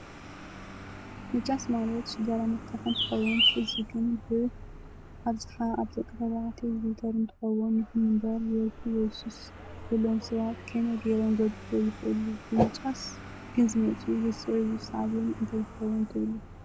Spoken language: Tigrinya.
ምጫስ ማለት ሽግራ ምትካክ እንትከውን እዚ ግን ብኣብ ዝሓ ኣብ ደቂ ተበዕትዮ ዝውተር እንትከውን ይኩን እንበር ወልፍ ወይ ሱስ ዘለዎ ሰባት ከመይ ገይሮም ክግድፍግ ይክእሉ ብምጫስ ግን ዝመፅኡ ሰዕብየን እንታይ ይከውን ትብሉ?